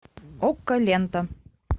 окко лента